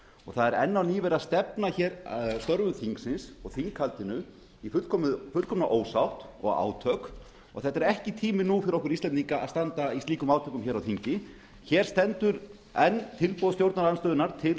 það er enn á ný verið að stefna störfum þingi og þinghaldinu í fullkomna ósátt og átök og þetta er ekki tími nú fyrir okkur íslendinga til að standa í slíkum átökum á þingi hér stendur enn tilboð stjórnarandstöðunnar til